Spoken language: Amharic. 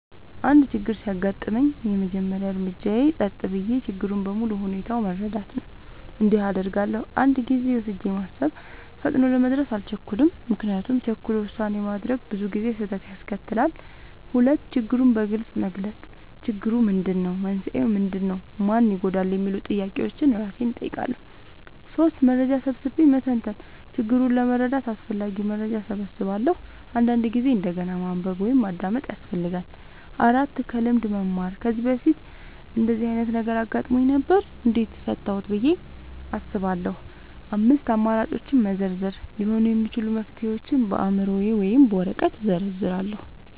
አንድ ችግር ሲያጋጥመኝ፣ የመጀመሪያው እርምጃዬ ጸጥ ብዬ ችግሩን በሙሉ ሁኔታው መረዳት ነው። እንዲህ አደርጋለሁ፦ 1. ጊዜ ወስጄ ማሰብ – ፈጥኖ ለመድረስ አልቸኩልም፤ ምክንያቱም ቸኩሎ ውሳኔ ማድረግ ብዙ ጊዜ ስህተት ያስከትላል። 2. ችግሩን በግልጽ መግለጽ – "ችግሩ ምንድነው? መንስኤው ምንድነው? ማን ይጎዳል?" የሚሉ ጥያቄዎችን እራሴን እጠይቃለሁ። 3. መረጃ ሰብስቤ መተንተን – ችግሩን ለመረዳት አስፈላጊ መረጃ እሰበስባለሁ፤ አንዳንድ ጊዜ እንደገና ማንበብ ወይም ማዳመጥ ያስፈልጋል። 4. ከልምድ መማር – "ከዚህ በፊት እንደዚህ ዓይነት ነገር አጋጥሞኝ ነበር? እንዴት ፈታሁት?" ብዬ አስባለሁ። 5. አማራጮችን መዘርዘር – ሊሆኑ የሚችሉ መፍትሄዎችን በአእምሮዬ ወይም በወረቀት ላይ እዘርዝራለሁ።